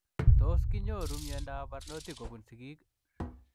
Tos kinyoruu miondoop parnotik kobunuu sigiik?